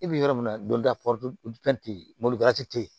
I bi yɔrɔ min na don dɔ tɛ yen mobili te yen